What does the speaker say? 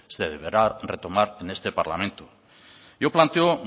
deberá retomar en este parlamento yo planteo